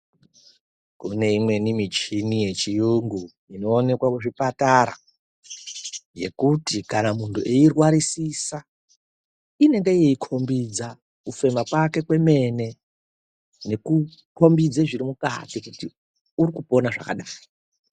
Kune imweni michini yechiyungu inoonekwe muzvipatara yekuti kana muntu eirwarisisa inende yeikombidza kufema kwake kwemene nekukombidza zviri mukati kuti uri kupona zvakadai.